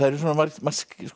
margt